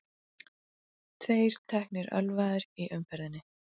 Tveir teknir ölvaðir í umferðinni